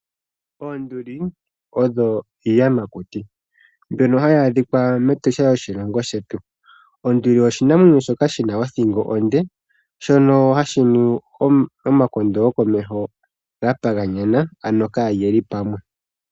Oonduuli odho iiyamakuti mboka hayi adhika mEtosha lyoshilongo shetu. Onduli oshinamwenyo shoka shina othingo ondee shono hashi nu omakondo gokomeho gelyathane kokule.